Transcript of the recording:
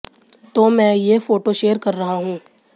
तो मैं ये फोटो शेयर कर रहा हूं